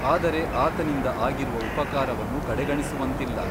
ಆದರೆ ಆತನಿಂದ ಆಗಿರುವ ಉಪಕಾರವನ್ನು ಕಡೆಗಣಿಸುವಂತಿಲ್ಲ.